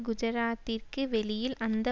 குஜராத்திற்கு வெளியில் அந்த